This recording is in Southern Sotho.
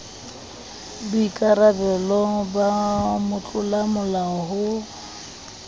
boikara belo ba motlolamolao ho